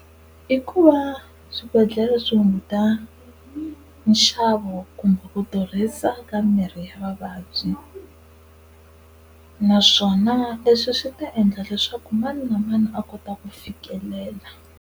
I ku va swibedhlele swi hunguta nxavo kumbe ku durhisa ka mirhi ya vavabyi, naswona leswi swi ta endla leswaku mani na mani a kota ku fikelela.